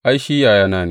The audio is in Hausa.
Ai, shi yayana ne.